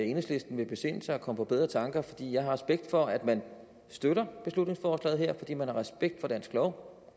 enhedslisten vil besinde sig og komme på bedre tanker jeg har respekt for at man støtter beslutningsforslaget her fordi man har respekt for dansk lov